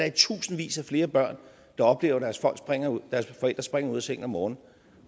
i tusindvis af flere børn der oplever at deres forældre springer ud af sengen om morgenen